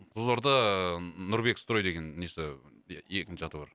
қызылорда нұрбек строй деген несі екінші аты бар